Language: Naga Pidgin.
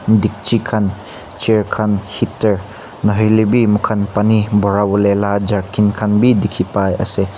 dikchi khan chair khan heater nahoilebi moikhan barawole la jerry can khan bi dikhi pai ase.